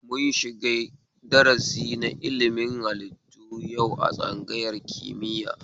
Mun shiga darasi na ilimin haliitu yau a tsangayar kimiya